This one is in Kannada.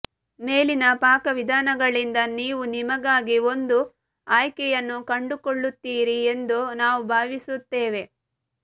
ಮೇಲಿನ ಪಾಕವಿಧಾನಗಳಿಂದ ನೀವು ನಿಮಗಾಗಿ ಒಂದು ಆಯ್ಕೆಯನ್ನು ಕಂಡುಕೊಳ್ಳುತ್ತೀರಿ ಎಂದು ನಾವು ಭಾವಿಸುತ್ತೇವೆ